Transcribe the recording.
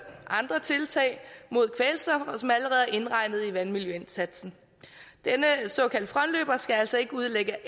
andre tiltag mod kvælstof og som allerede er indregnet i vandmiljøindsatsen denne såkaldte frontløber skal altså ikke udlægge